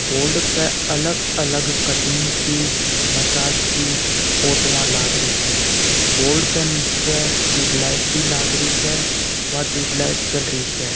बोर्ड पे अलग अलग कटिंग की मसाज की फोटोवा लागरी स बोर्ड के निचे टूबलाइट भी लागरी स व टूबलाइट चलरी स।